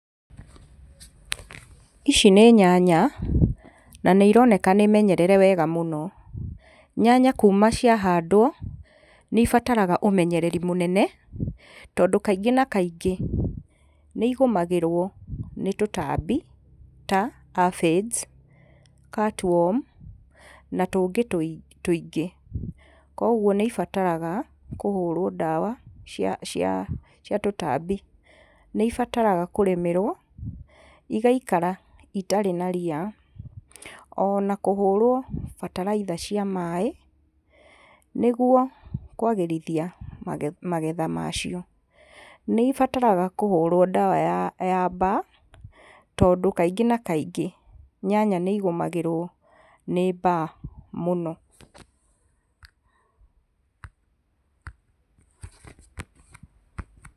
Ici nĩ nyanya na nĩ ironeka nĩ menyerere wega mũno. Nyanya kuma ciahandwo nĩ ibataraga ũmenyereri mũnene tondũ kaingĩ na kaingĩ nĩigũmagĩrwo nĩ tũtambi ta afades, catworm na tũngĩ tũingĩ. Kuoguo nĩ ibataraga kũhũrwo ndawa cia cia cia tũtambi. Nĩ ibataraga kũrĩmĩrwo igaikara itarĩ na ria, ona kũhũrwo bataraitha cia maĩ, nĩguo kwagĩrithia magetha macio. Nĩ ibatarga kũhũrwo ndawa ya ya mbaa tondũ kaingĩ na kaingĩ nyanya nĩ igũmagĩrwo nĩ mbaa mũno.